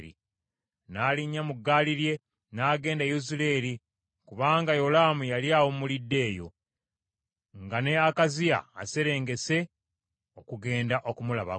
N’alinnya mu ggaali lye, n’agenda e Yezuleeri, kubanga Yolaamu yali awummulidde eyo, nga ne Akaziya aserengese okugenda okumulabako.